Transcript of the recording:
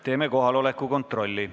Teeme kohaloleku kontrolli.